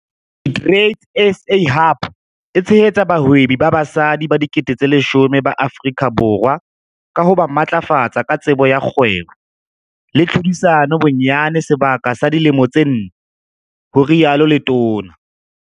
SheTradesZA Hub e tshehetsa bahwebi ba basadi ba 10 000 ba Afrika Borwa ka ho ba matlafatsa ka tsebo ya kgwebo le tlhodisano bonyane sebaka sa dilemo tse nne, ho rialo letona.